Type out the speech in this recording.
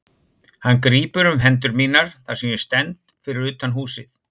Hann grípur um hendur mínar þar sem ég stend fyrir utan húsið.